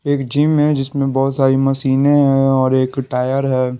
एक जिम है जिसमें बहुत सारी मशीनें हैं और एक टायर है।